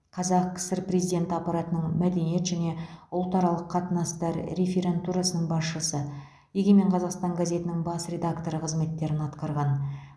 қазақ кср президенті аппаратының мәдениет және ұлтаралық қатынастар реферантурасының басшысы егемен қазақстан газетінің бас редакторы қызметтерін атқарған